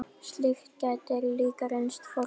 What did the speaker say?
Slíkt gæti líka reynst flókið.